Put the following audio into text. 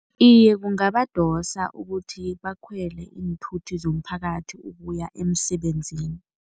Iye, kungabadosa ukuthi bakhwele iinthuthi zomphakathi ukuya emsebenzini.